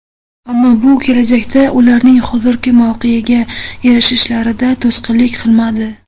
Ammo bu kelajakda ularning hozirgi mavqega erishishlarida to‘sqinlik qilmadi.